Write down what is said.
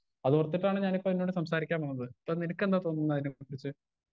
Speaker 1 അതോർത്തിട്ടാണ് ഞാനിപ്പൊ നിന്നോട് സംസാരിക്കാൻ വന്നത് ഇപ്പൊ നിനക്കെന്താ തോന്നുന്നത് അതിനെ കുറിച്ച്.